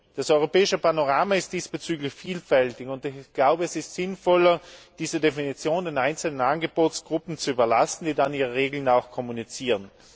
Das europäische Panorama ist diesbezüglich vielfältig, und ich halte es für sinnvoller, diese Definition den einzelnen Angebotsgruppen zu überlassen, die dann ihre Regeln auch kommunizieren.